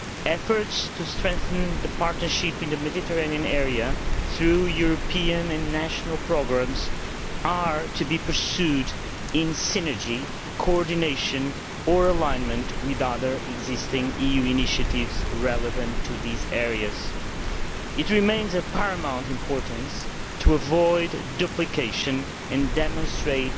Efforts to strengthen the partnership in the Mediterranean area through European and national programmes are to be pursued in synergy, coordination or alignment with other existing EU initiatives relevant to those areas. It remains of paramount importance to avoid duplication and to demonstrate